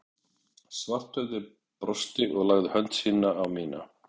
Svarthöfði brosti og lagði hönd sína á mína